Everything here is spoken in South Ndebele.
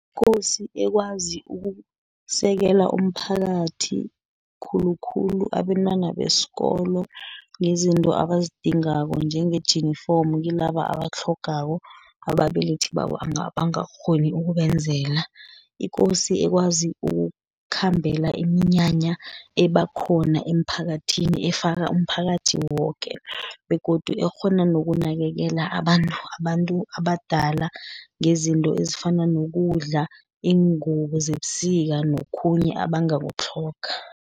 Ikosi ekwazi ukusekela umphakathi, khulukhulu abentwana besikolo, ngezinto abazidingako njengejinifomo kilaba abatlhogako ababelethi babo abangakghoni ukubenzela. Ikosi ekwazi ukukhambela iminyanya eba khona emphakathini, efaka umphakathi woke, begodu ekghona nokunakekela [? abantu abadala ngezinto ezifana nokudla, Iingubo zebusika, nokhunye abangakutlhoga.